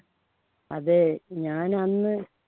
അതെ ഞാൻ അന്ന്